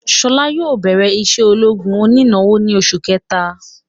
Ṣọlá yóò bẹrẹ isé ológun oní ìnáwó ni oṣù kẹta